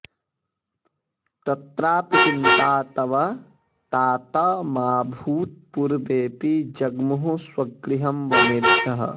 तत्रापि चिन्ता तव तात मा भूत् पूर्वेऽपि जग्मुः स्वगृहं वनेभ्यः